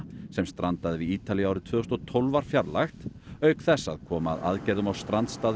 sem strandaði við Ítalíu árið tvö þúsund og tólf var fjarlægt auk þess að koma að aðgerðum á strandstað